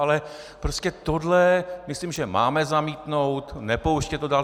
Ale prostě tohle myslím, že máme zamítnout, nepouštět to dál.